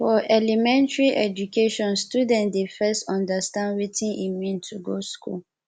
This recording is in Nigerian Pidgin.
for elementary education student dey first understand wetin e mean to go school